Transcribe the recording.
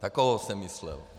Takovou jsem myslel.